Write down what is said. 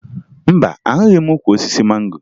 Mba, ahụghị m ukwu osisi mango